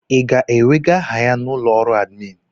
I ga-ewega aha ya n'ụlọ ọrụ admin?